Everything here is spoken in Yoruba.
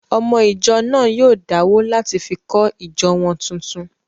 Ọmọ ìjọ náà yóò dáwó láti fi kọ́ ìjọ wọn tuntun